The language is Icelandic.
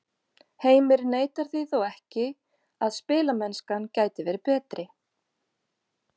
Heimir neitar því þó ekki að spilamennskan gæti verið betri.